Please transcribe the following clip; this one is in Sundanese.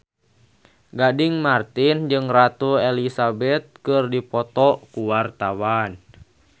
Gading Marten jeung Ratu Elizabeth keur dipoto ku wartawan